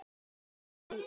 Fékkstu að.